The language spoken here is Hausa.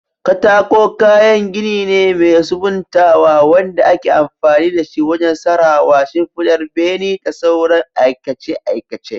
Katako kayan gini ne mai sabuntawa wanda ake amfani da shi wajen tsarawa, shimfidar bene, da sauran aikace-aikace.